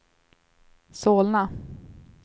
Solna